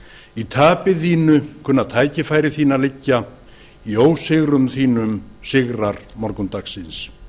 í tapi þínu kunna tækifæri þín að liggja í ósigrum þínum sigrar morgundagsins